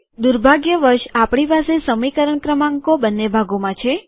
દુર્ભાગ્યવશ આપણી પાસે સમીકરણ ક્રમાંકો બંને ભાગોમાં છે